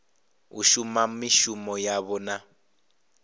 u shuma mishumo yavho na